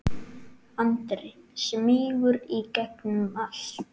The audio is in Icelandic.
Andri: Smýgur í gegnum allt?